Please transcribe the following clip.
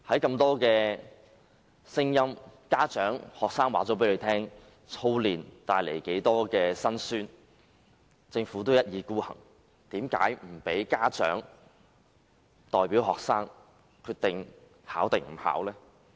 眾多家長和學生已表達過操練帶來的辛酸，政府卻一意孤行，拒絕由家長代表學生決定是否參加考試。